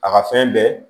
A ka fɛn bɛɛ